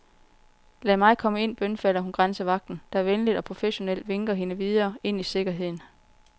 Lad mig komme ind, bønfalder hun grænsevagten, der venligt og professionelt vinker hende videre, ind i sikkerheden.